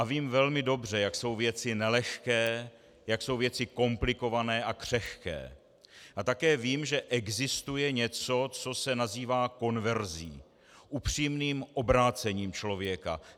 A vím velmi dobře, jak jsou věci nelehké, jak jsou věci komplikované a křehké, a také vím, že existuje něco, co se nazývá konverzí, upřímným obrácením člověka.